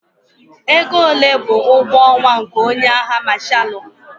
Ego ole bụ ụgwọ ọnwa nke onye agha Mashalụ?